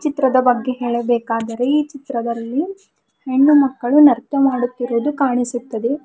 ಚಿತ್ರದ ಬಗ್ಗೆ ಹೇಳಬೇಕಾದರೆ ಈ ಚಿತ್ರದಲ್ಲಿ ಹೆಣ್ಣು ಮಕ್ಕಳು ನರ್ತ ಮಾಡುತ್ತಿರುವುದು ಕಾಣಿಸುತ್ತದೆ.